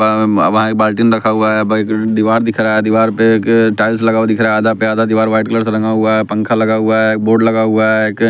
वहाँ एक बाल्टीन रखा हुआ है दीवार दिख रहा है दीवार पे एक टाइल्स लगा हुआ दिख रहा आधा पे आधा दीवार व्हाइट कलर से रंगा हुआ है पंखा लगा हुआ है एक बोर्ड लगा हुआ है एक--